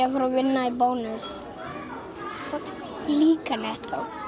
vinna í bónus líka nettó